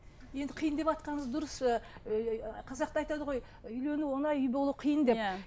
енді қиын деватқаныңыз дұрыс ыыы қазақта айтады ғой үйлену оңай үй болу қиын деп иә